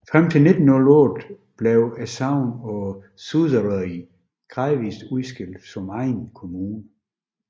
Frem til 1908 blev sognene på Suðuroy gradvist udskilt som egne kommuner